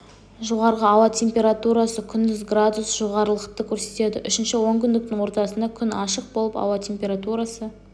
жоғарғы ауа температурасы күндіз градус жоғарылықты көрсетеді үшінші онкүндіктің ортасында күн ашық болып ауа температурасы